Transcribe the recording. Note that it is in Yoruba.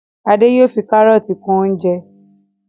Ade yóò fí karọọti kún oúnjẹ